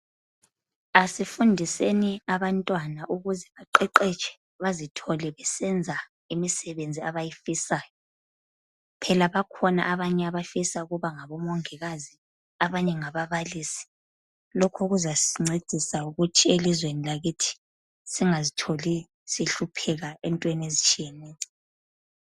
Asifundiseni abantwana ukuze baqeqetshe bazithole besenza imisebenzi abayifisayo phela bakhona abanye abafisa ukuba ngabomongikazi , abanye ngababalisi lokhu kuzasincedisa ukuthi elizweni lakithi singazitholi sihlupheka entweni ezitshiyeneyo.